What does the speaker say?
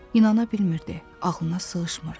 İnanabilmirdi, ağlına sığışmırdı.